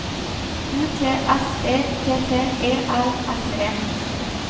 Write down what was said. U T S E T T E L S E